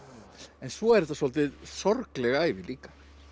en svo er þetta svolítið sorgleg ævi líka